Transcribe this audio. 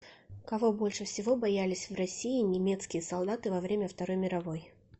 кого больше всего боялись в россии немецкие солдаты во время второй мировой